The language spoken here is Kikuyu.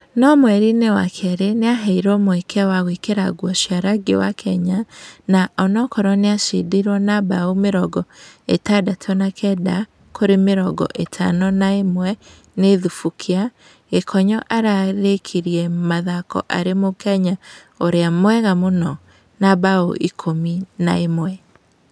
No mweriinĩ wa kerĩ niaheirũo mweke wa gũĩkĩra ngũo cia rangi wa Kenya na unaakorũo nĩacindiruo na mbaũ mĩrongo ĩtandatũ na kenda kwa mĩrongo ĩtano na ĩmwe nĩ Thubukia, Gĩkonyo arĩkirie mũthako ari mũkenya ũrĩa mwega mũno na mbaũ ikũmi na ĩmwe.